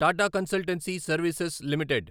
Tata consultancy services limited